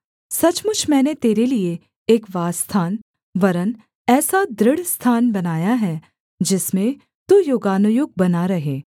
सचमुच मैंने तेरे लिये एक वासस्थान वरन् ऐसा दृढ़ स्थान बनाया है जिसमें तू युगानुयुग बना रहे